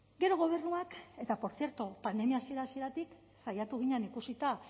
gero gobernuak eta por cierto pandemia hasiera hasieratik saiatu ginen ikusita